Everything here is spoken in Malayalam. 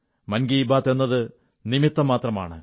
മൻ കീ ബാത്ത് എന്നത് നിമിത്തം മാത്രമാണ്